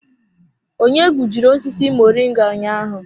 Onye gbujiri osisi moringa ụnyaahụ?